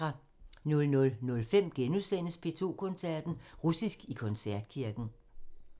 00:05: P2 Koncerten – Russisk i koncertkirken *